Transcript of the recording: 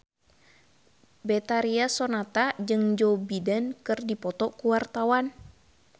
Betharia Sonata jeung Joe Biden keur dipoto ku wartawan